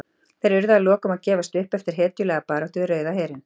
Þeir urðu að lokum að gefast upp eftir hetjulega baráttu við Rauða herinn.